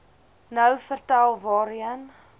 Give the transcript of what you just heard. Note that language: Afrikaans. nou vertel waarheen